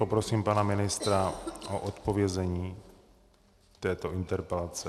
Poprosím pana ministra o odpovězení této interpelace.